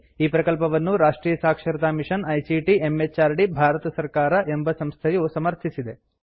ಈ ಪ್ರಕಲ್ಪವನ್ನು ರಾಷ್ಟ್ರಿಯ ಸಾಕ್ಷರತಾ ಮಿಷನ್ ಐಸಿಟಿ ಎಂಎಚಆರ್ಡಿ ಭಾರತ ಸರ್ಕಾರ ಎಂಬ ಸಂಸ್ಥೆಯು ಸಮರ್ಥಿಸಿದೆ